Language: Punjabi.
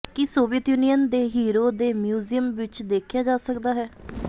ਕੀ ਸੋਵੀਅਤ ਯੂਨੀਅਨ ਦੇ ਹੀਰੋ ਦੇ ਮਿਊਜ਼ੀਅਮ ਵਿੱਚ ਦੇਖਿਆ ਜਾ ਸਕਦਾ ਹੈ